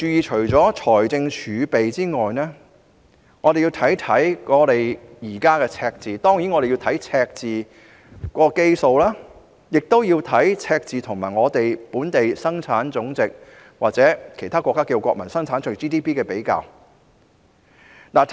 除了財政儲備外，我們還要注意現時的財政赤字，包括赤字的基數及赤字與本地生產總值或其他國家稱為國民生產總值的比較。